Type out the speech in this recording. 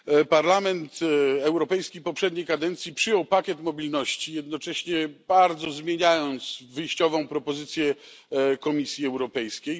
Parlament Europejski poprzedniej kadencji przyjął pakiet mobilności, jednocześnie bardzo zmieniając wyjściową propozycję Komisji Europejskiej.